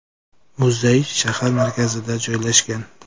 Muzey shahar markazida joylashgan.